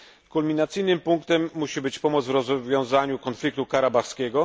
Kulminacyjnym punktem musi być pomoc w rozwiązaniu konfliktu karabachskiego.